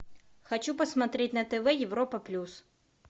хочу посмотреть на тв европа плюс